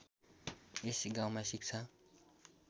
यस गाउँमा शिक्षा